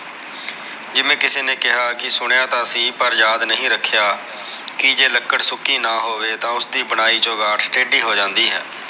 ਜਿਵੇ ਕਿਸੇ ਨੇ ਕਿਹਾ ਕਿ ਸੁਣਿਆ ਤਾ ਸੀ ਪਰ ਯਾਦ ਨਹੀ ਰਖਿਆ ਕੇ ਜੇ ਲਕੜ ਸੁਕੀ ਨਾ ਹੋਵੇ ਤਾ ਓਸ ਦੀ ਬਣਾਈ ਚਗਾਠ ਟੇਡੀ ਹੋ ਜਾਂਦੀ ਹੈ